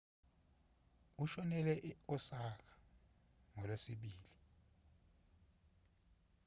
ushonele e-osaka ngolwesibili